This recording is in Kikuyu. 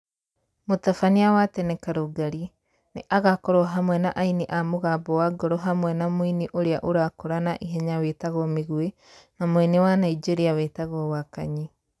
Mũtabania wa tene Karũngari, nĩ agakorwo hamwe na aini a Mũgambo wa Ngoro hamwe na mũini ũrĩa ũrakũra na ihenya wĩtagwo Mĩgwĩ na mũini wa Naijeria wĩtagwo Wakanyi.